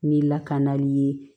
Ni lakanali ye